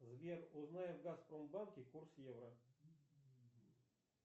сбер узнай в газпромбанке курс евро